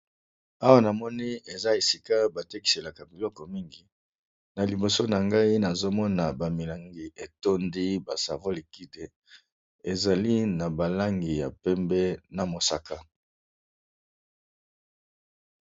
Awa na moni eza esika batekiselaka biloko mingi na liboso na ngai nazomona bamilangi etondi ba savolikide ezali na balangi ya pembe na mosaka.